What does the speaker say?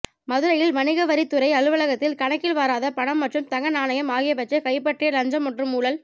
மதுரை வணிகவரித் துறை அலுவலகத்தில் கணக்கில் வராத பணம் மற்றும் தங்க நாணயம் ஆகியவற்றை கைப்பற்றிய லஞ்சம் மற்றும் ஊழல்